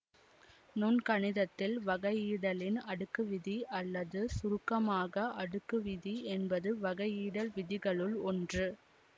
நுண்கணிதத்தில் வகையிடலின் அடுக்கு விதி அல்லது சுருக்கமாக அடுக்கு விதி என்பது வகையிடல் விதிகளுள் ஒன்று